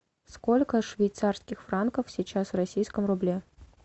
сколько швейцарских франков сейчас в российском рубле